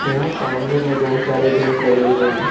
यहां सामने में बहुत सारे बेंच लगे हुए हैं।